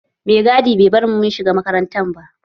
Mai gadi bai bar mu mun shiga makaranta ba